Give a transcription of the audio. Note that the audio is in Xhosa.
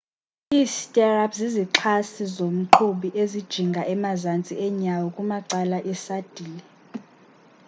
i stirrups zizixhasi zomqhubi ezijinga emazantsi enyawo kumacala esadile